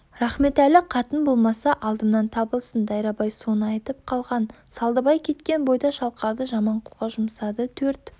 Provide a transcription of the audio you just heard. рахметәлі қатын болмаса алдымнан табылсын дайрабай соны айтып қалған салдыбай кеткен бойда шалқарды жаманқұлға жұмсады төрт